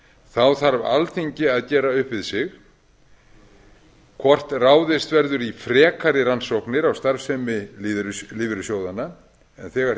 þá þarf alþingi að gera upp við sig hvort ráðist verður í frekari rannsóknir á starfsemi lífeyrissjóðanna en þegar